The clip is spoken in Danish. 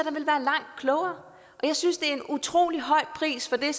langt klogere og jeg synes det er en utrolig høj pris for det